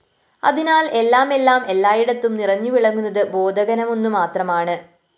അതിനാല്‍ എല്ലാമെല്ലാം എല്ലായിടത്തും നിറഞ്ഞു വിളങ്ങുന്നത് ബോധഘനമൊന്നുമാത്രമാണ്